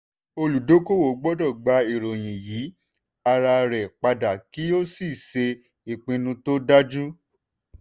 olùdókòwò gbọ́dọ̀ gba ìròyìn yí ara rẹ̀ padà kí ó sì ṣe ìpinnu tó dájú.